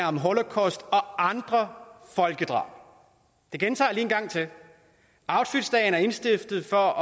om holocaust og andre folkedrab jeg gentager lige auschwitzdagen er indstiftet for